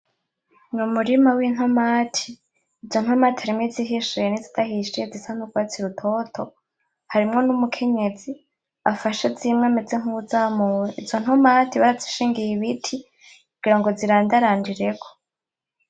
N,umurima w'intomati izo ntomati harimwo izihishiye nizidahishiye zisa nurwatsi rutoto harimwo n'umukenyezi afashe zimwe ameze nkuzamuye izo ntomati barazishingiye ibiti kugira zirandarandireko .